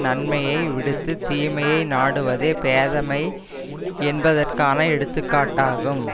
நன்மையை விடுத்துத் தீமையை நாடுவதே பேதைமை என்பதற்கான எடுத்துக்காட்டாகும்